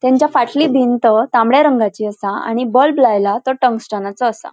त्यांच्या फाटली भिंत तांबड्या रंगाची असा. आणि बल्ब लायला तो टंगस्टनाचो असा.